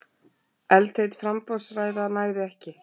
Eldheit framboðsræða nægði ekki